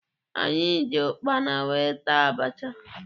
Anyị ji ụkpana wee taa abacha.